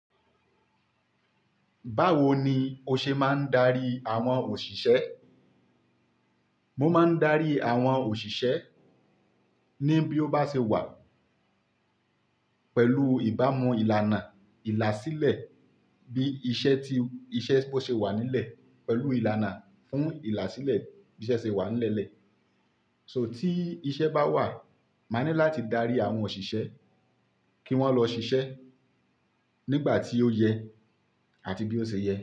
Báwo ni o ṣe máa ń darí àwọn òṣìṣẹ́? Mo máa ń darí àwọn òṣìṣẹ́ ní bí ó bá ṣe wà pẹ̀lú ìbámu ìlànà ìlàsílẹ̀ bí iṣẹ́ tí-- iṣẹ́ bó ṣe wà nílẹ̀ pẹ̀lú ìlànà fún ìlàsílẹ̀ bí iṣẹ́ ṣe wà nílẹ̀. So tí iṣẹ́ bá wà, máa ní láti darí àwọn òṣìṣẹ́ kí wọ́n lọ ṣiṣẹ́ nígbà tí ó yẹ àti bí ó ṣe yẹ.